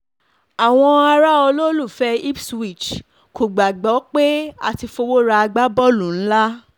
àwọn ará olólùfẹ́ ipswich kò gbàgbọ́ pé a ti fọwọ́ ra agbábọ́ọ̀lù ńlá